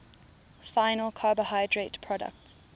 final carbohydrate products